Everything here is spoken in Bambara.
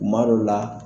Kuma dɔ la